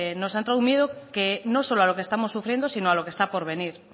nos ha entrado un miedo no solo a lo que estamos sufriendo sino a lo que está por venir